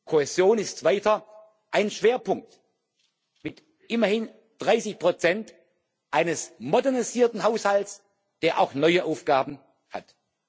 Kohäsion ist weiter ein Schwerpunkt mit immerhin 30 eines modernisierten Haushalts, der auch neue Aufgaben hat.